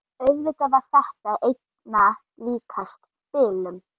Auðvitað var þetta einna líkast bilun.